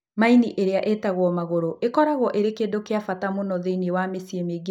Maini, ĩrĩa ĩĩtagwo maguru, ĩkoragwo ĩrĩ kĩndũ kĩa bata mũno thĩinĩ wa mĩciĩ mĩingĩ ya andũ a Kenya.